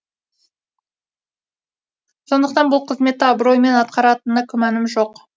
сондықтан бұл қызметті абыроймен атқаратынына күмәнім жоқ